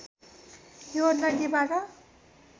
यो नदीबाट